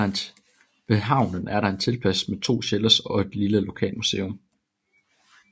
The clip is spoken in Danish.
Ved havnen er der en teltplads med to shelters og et lille lokalmuseum